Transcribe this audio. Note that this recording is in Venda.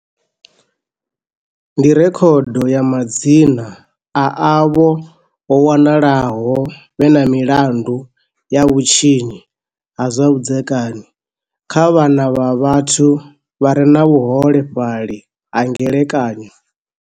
Ndi rekhodo ya madzina a avho vho wanalaho vhe na milandu ya vhutshinyi ha zwa vhudzekani kha vhana na vhathu vha re na vhuhole fhali ha ngelekanyo.